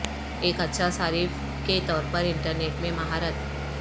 ایک اچھا صارف کے طور پر انٹرنیٹ میں مہارت